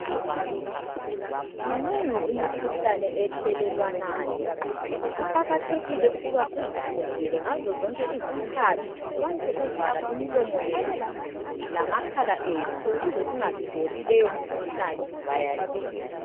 Minengi imikhuhlane ethelelwanayo, kuqakathekile ukuba sizivikele ngazo zonke izikhathi sikwanise ukuvala imilomo yethu lamakhala ethu ukuze singaguli leyo mikhuhlane.